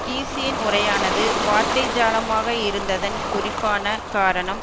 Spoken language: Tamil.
கீஸியின் உரையானது வார்த்தை ஜாலமாக இருந்ததன் குறிப்பான காரணம்